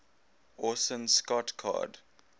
orson scott card